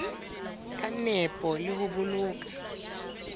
ka nepo le ho boloka